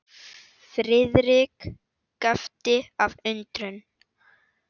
Friðrik gapti af undrun.